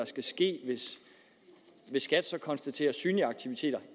skal ske hvis skat så konstaterer synlige aktiviteter